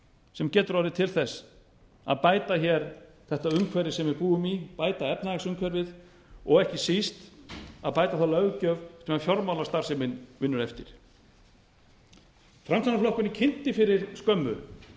sem getur orðið til þess að bæta hér þetta umhverfi sem við búum í bæta efnahagsumhverfið og ekki síst að bæta þá löggjöf sem fjármálastarfsemin vinnur eftir framsóknarflokkurinn kynnti fyrir skömmu